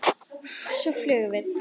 Og svo flugum við.